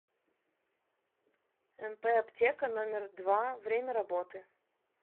мп аптека номер два время работы